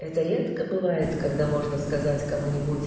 это редко бывает когда можно сказать кому-нибудь